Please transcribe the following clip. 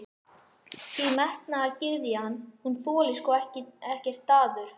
Því menntagyðjan, hún þolir sko ekkert daður.